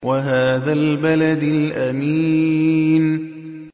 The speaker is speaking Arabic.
وَهَٰذَا الْبَلَدِ الْأَمِينِ